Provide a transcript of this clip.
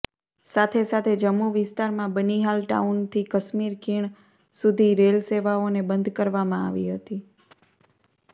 સાથે સાથે જમ્મુ વિસ્તારમાં બનિહાલ ટાઉનથી કાશ્મીર ખીણ સુધી રેલ સેવાઓને બંધ કરવામાં આવી હતી